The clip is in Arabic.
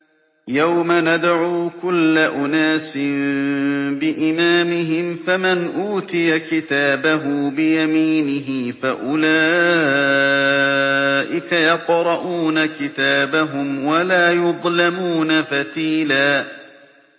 يَوْمَ نَدْعُو كُلَّ أُنَاسٍ بِإِمَامِهِمْ ۖ فَمَنْ أُوتِيَ كِتَابَهُ بِيَمِينِهِ فَأُولَٰئِكَ يَقْرَءُونَ كِتَابَهُمْ وَلَا يُظْلَمُونَ فَتِيلًا